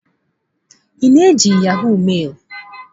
Ị na-eji yahọ̀g mailụ?